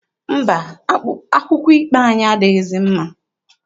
Mba, akwụkwọ ikpe anyị adịghịzi mma.